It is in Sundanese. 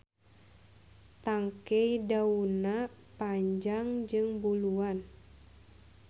Tangkey daunna panjang jeung buluan.